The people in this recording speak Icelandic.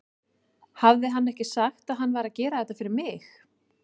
Hafði hann ekki sagt að hann væri að gera þetta fyrir mig?